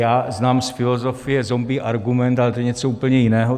Já znám z filozofie zombie argument, ale to je něco úplně jiného.